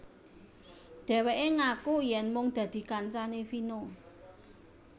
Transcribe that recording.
Dheweke ngaku yen mung dadi kancane Vino